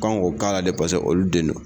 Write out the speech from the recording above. Kon ko k'ala dɛ paseke olu den don.